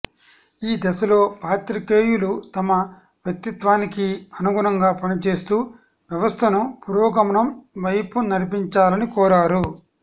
ఈ దశలో పాత్రికేయులు తమ వ్యక్తిత్వానికి అనుగుణంగా పనిచేస్తూ వ్యవస్థను పురోగమనం వైపు నడిపించాలని కోరారు